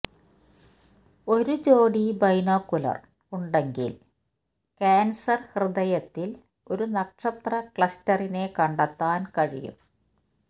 ഒരു ജോടി ബൈനോക്കുലർ ഉണ്ടെങ്കിൽ കാൻസർ ഹൃദയത്തിൽ ഒരു നക്ഷത്ര ക്ലസ്റ്ററിനെ കണ്ടെത്താൻ കഴിയും